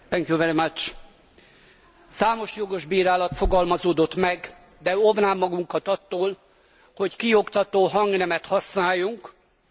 Számos jogos bírálat fogalmazódott meg, de óvnám magunkat attól, hogy kioktató hangnemet használjunk, mert az kontraproduktív.